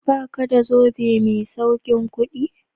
Ba ka da zobe mai saukin kudi?